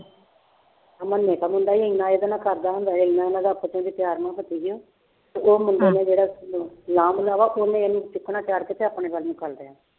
ਆਹ ਮੰਨੇ ਕਾ ਮੁੰਡਾ ਹੀ ਇੰਨਾ ਇਹਦੇ ਨਾਲ ਕਰਦਾ ਹੁੰਦਾ ਇੰਨਾ ਨਾ ਰੱਖ ਤੂੰ ਵੀ ਪਿਆਰ ਨਾਲ ਫਸੀ ਗਿਆ ਤੇ ਉਹ ਮੁੰਡੇ ਨੇ ਮੇਰਾ ਲਾਂਭ ਦਾ ਵਾ ਉਹਨੇ ਤੇ ਆਪਣੇ ਵੱਲ ਨੂੰ ਕਰ ਲਿਆ।